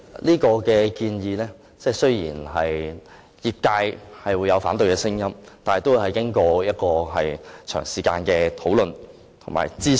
這項建議雖然引起業界的反對聲音，但也已經過長時間討論及諮詢。